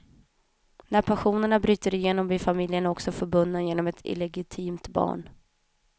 När passionerna bryter igenom blir familjerna också förbundna genom ett illegitimt barn.